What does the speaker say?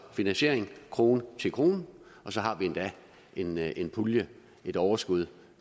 finansiering krone til krone og så har vi endda en pulje et overskud